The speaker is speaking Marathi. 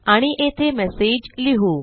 आणि येथे मेसेज लिहू